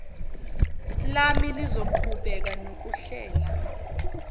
lami lizoqhubeka nokuhlela